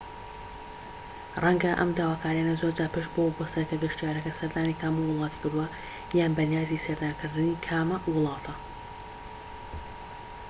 ڕەنگە ئەم داواکاریانە زۆر جار پشت بەوە ببەستێت کە گەشتیارەکە سەردانی کامە وڵاتی کردووە یان بەنیازی سەردانکردنی کامە وڵاتە